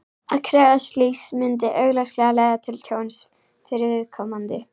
Að krefjast slíks myndi augljóslega leiða til tjóns fyrir viðkomandi.